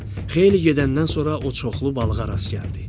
Xeyli gedəndən sonra o çoxlu balığa rast gəldi.